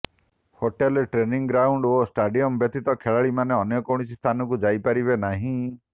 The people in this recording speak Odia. ହୋଟେଲ ଟ୍ରେନିଂ ଗ୍ରାଉଣ୍ଡ୍ ଓ ଷ୍ଟାଡିୟମ ବ୍ୟତୀତ ଖେଳାଳିମାନେ ଅନ୍ୟ କୌଣସି ସ୍ଥାନକୁ ଯାଇପାରିବେ ନାହିଁ